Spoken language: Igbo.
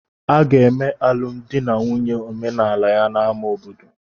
Aga eme alụmdi na nwunye omenala ya na ama obodo